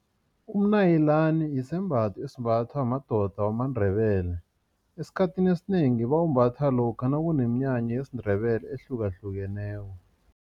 Umnayilani yisembatho esimbathwa madoda wamaNdebele. Esikhathini esinengi bawumbatha lokha nakuneminyanya yesiNdebele ehlukahlukeneko.